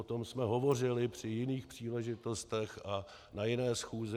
O tom jsme hovořili při jiných příležitostech a na jiné schůzi.